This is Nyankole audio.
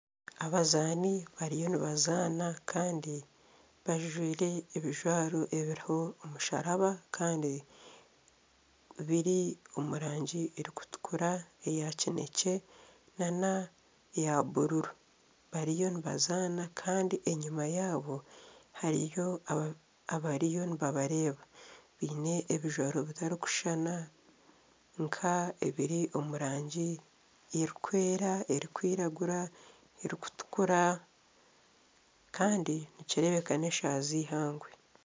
Abazaani bariyo nibazaana kandi bajwaire ebijwaro ebiriho omusharaba kandi biri omu rangi erikutukura, eya kinekye nana eya buruuru bariyo nibazaana kandi enyuma yaabo hariyo abariyo nibabareeba biine ebijwaro ebitarikushuushana nka ebiri omu rangi erikwera, erikwiragura n'erikutukura kandi nikireebeka n'eshaaha z'eihangwe.